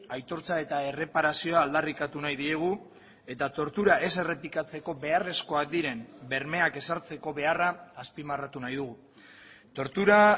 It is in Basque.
aitortza eta erreparazioa aldarrikatu nahi diegu eta tortura ez errepikatzeko beharrezkoak diren bermeak ezartzeko beharra azpimarratu nahi dugu tortura